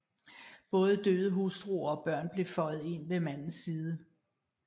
Både døde hustruer og børn blev føjet ind ved mandens side